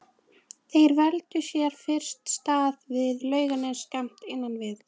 Þeir völdu sér fyrst stað við Laugarnes skammt innan við